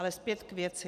Ale zpět k věci.